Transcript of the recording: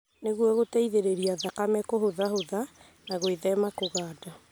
Nĩguo gũteithĩrĩria thakame kũhũthahũtha na gwĩthema kũganda.